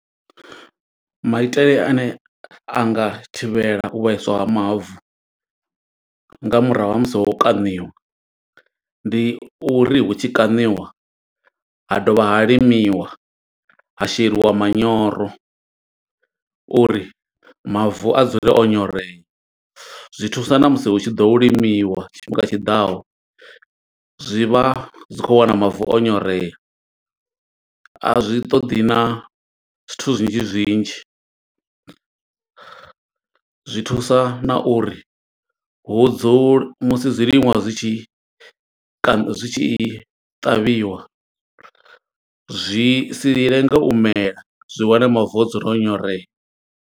Maitele ane anga thivhela u vhaiswa ha mavu, nga murahu ha musi ho no kaṋiwa. Ndi uri hu tshi kaṋiwa, ha dovha ha limiwa, ha sheliwa manyoro, uri mavu a dzule o nyorea. Zwi thusa na musi hu tshi ḓo limiwa tshifhinga tshiḓaho, zwi vha zwi khou wana mavu o nyorea. A zwi ṱoḓi na zwithu, zwinzhi zwinzhi zwi thusa na uri hu dzule musi zwiḽiwa zwi tshi kana zwi tshi, ṱavhiwa. Zwi si lenge u mela, zwi wane mavu o dzula o nyorea.